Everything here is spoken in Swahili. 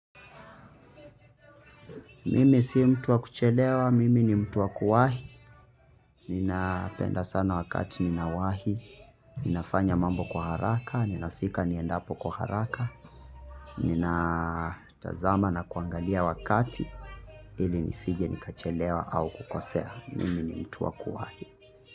Mimi si mtu wa kuchelewa, mimi ni mtu wa kuwahi, ninapenda sana wakati ninawahi, ninafanya mambo kwa haraka, ninafika niendapo kwa haraka, ninatazama na kuangalia wakati ili nisije nikachelewa au kukosea, mimi ni mtu wa kuwahi.